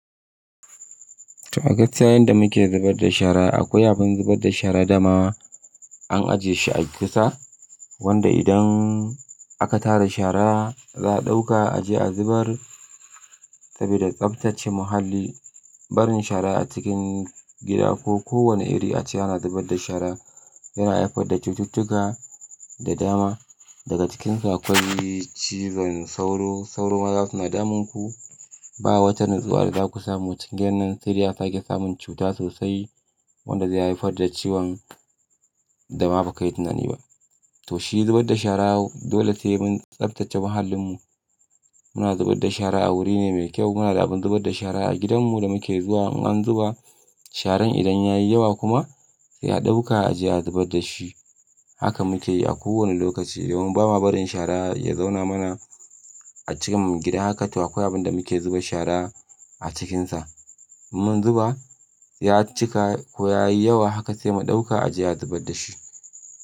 Toh, a gatsya yanda muke zubar da shara. Akwai abin zubar da shara dama an ajiye shi a kusa, wanda idan aka tara shara za a ɗauka a je a zubar saboda tsaftace muhalli. Barin shara a cikin gida ko kowane iri ace ana zubar da shara yana haifar da cututtuka da dama. Daga cikinsa akwai cizon sauro, sauro ma za su na damun ku. Ba wata nutsuwa da za ku samu cikin gidanan sariya sake samun cuta sosai wanda zai haifar da ciwon da ba ka yi tunani ba. To shi zubar da shara dole sai mun tsaftace muhallinmu. Muna zubar da shara a wuri ne mai kyau. Muna da abin zubar da shara a gidanmu da muke zuwa in an zuba sharan idan ya yi yawa kuma sai a ɗauka a je a zubar da shi. Haka muke yi a kowane lokaci domin ba ma barin shara ya zauna mana a cin gida. Haka to akwai abin da muke zuba shara a cikinsa. Mun zuba ya cika ko ya yi yawa haka sai mu ɗauka a je a zubar da shi.